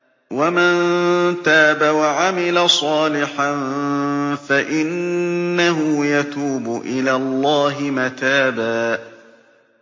وَمَن تَابَ وَعَمِلَ صَالِحًا فَإِنَّهُ يَتُوبُ إِلَى اللَّهِ مَتَابًا